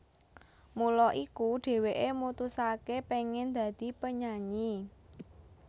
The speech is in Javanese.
Mula iku dheweke mutusake pengen dadi penyanyi